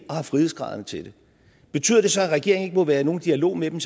og har frihedsgraderne til det betyder det så at regeringen må være i nogen dialog med dem